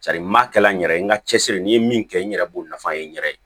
n m'a kɛla n yɛrɛ ye n ka cɛsiri n ye min kɛ n yɛrɛ b'o nafa ye n yɛrɛ ye